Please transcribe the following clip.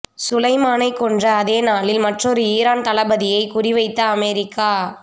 சுலைமானைக் கொன்ற அதே நாளில் மற்றொரு ஈரான் தளபதியைக் குறிவைத்த அமெரிக்கா